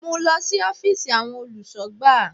Mú lọ sí Ófììsì àwọn olùsọ̀gbà